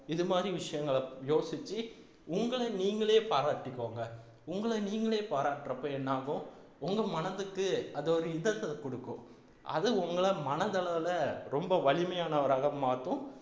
இது மாதிரி விஷயங்களை யோசிச்சு உங்களை நீங்களே பாராட்டிக்கோங்க உங்களை நீங்களே பாராட்டுறப்போ என்னாகும் உங்க மனதுக்கு அது ஒரு interest அ கொடுக்கும் அது உங்களை மனதளவுல ரொம்ப வலிமையானவராக மாத்தும்